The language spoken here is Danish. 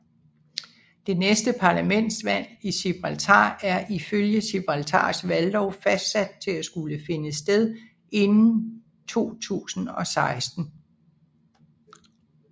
Det næste parlamentsvalg i Gibraltar er ifølge Gibraltars valglov fastsat til at skulle finde sted inden 2016